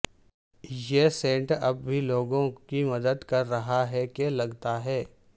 یہ سینٹ اب بھی لوگوں کی مدد کر رہا ہے کہ لگتا ہے